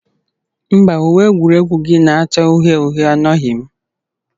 Mba, uwe egwuregwu gị na-acha uhie uhie anọghị m.